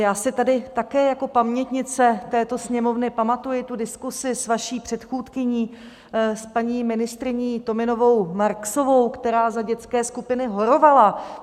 Já si tady také jako pamětnice této Sněmovny pamatuji tu diskusi s vaší předchůdkyní, s paní ministryní Tominovou Marksovou, která za dětské skupiny horovala.